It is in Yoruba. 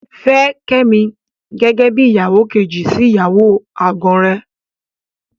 Fẹ́ Kẹ́mi gẹ́gẹ́ bí ìyàwó kejì sí ìyàwó àgàn rẹ.